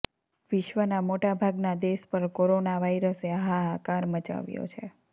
વિશ્વના મોટાભાગના દેશ પર કોરોના વાઈરસે હાહાકાર મચાવ્યો છે